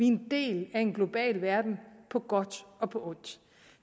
en del af en global verden på godt og på ondt